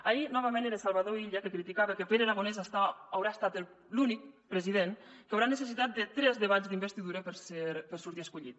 ahir novament era salvador illa que criticava que pere aragonès haurà estat l’únic president que haurà necessitat tres debats d’investidura per sortir escollit